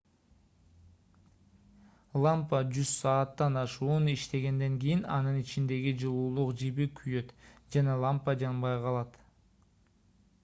лампа жүз сааттан ашуун иштегенден кийин анын ичиндеги жылуулук жиби күйөт жана лампа жанбай калат